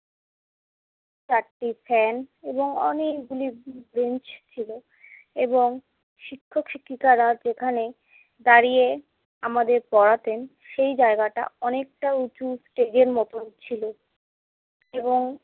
চারটি ফ্যান এবং অনেকগুলি বেঞ্চ ছিলো এবং শিক্ষক-শিক্ষিকারা যেখানে দাঁড়িয়ে আমাদের পড়াতেন সেই জায়গাটা অনেকটা উঁচু stage এর মতন ছিলো এবং